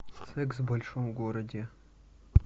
секс в большом городе